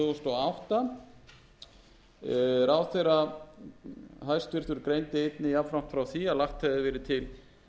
hæstvirtrar greindi einnig jafnframt frá því að lagt hefði verið til tvö